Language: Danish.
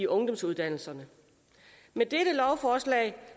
ungdomsuddannelserne med dette lovforslag